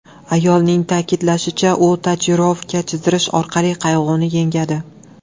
Ayolning ta’kidlashicha, u tatuirovka chizidirish orqali qayg‘uni yengadi.